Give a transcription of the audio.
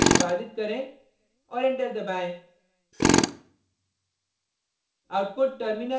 type करके Perl script को निष्पादित करें और एंटर दबाएँ